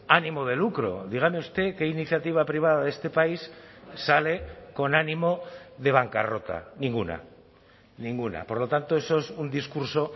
ánimo de lucro dígame usted qué iniciativa privada de este país sale con ánimo de bancarrota ninguna ninguna por lo tanto eso es un discurso